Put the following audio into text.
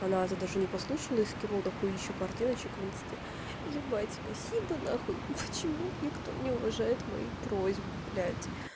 она это даже не послушала и скинула до хуищя картиночек в инсте ебать спасибо нахуй ну почему никто не уважает мои просьбу блядь